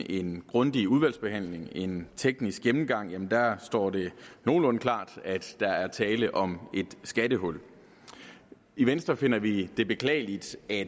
en grundig udvalgsbehandling en teknisk gennemgang gennemgang står det nogenlunde klart at der er tale om et skattehul i venstre finder vi det beklageligt at